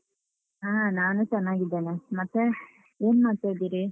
ಹ. ನಾನೂ ಚೆನ್ನಾಗಿದ್ದೇನೆ. ಮತ್ತೆ? ಏನ್ಮಾಡ್ತಾ ಇದಿರಿ?